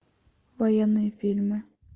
военные фильмы